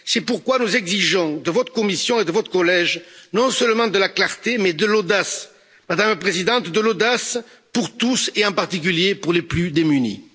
C'est pourquoi nous exigeons de votre Commission et de votre collège non seulement de la clarté, mais de l'audace, Madame la Présidente, de l'audace pour tous et en particulier pour les plus démunis.